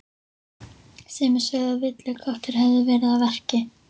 Sumir sögðu að villiköttur hefði verið að verki.